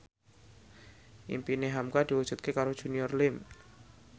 impine hamka diwujudke karo Junior Liem